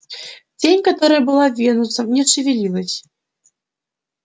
тень которая была венусом не шевелилась